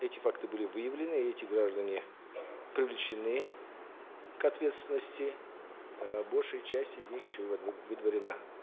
эти факты были выявлены и эти граждане привлечены к ответственности э большая часть из них еще выдворена